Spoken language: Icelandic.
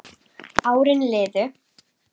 Árin liðu.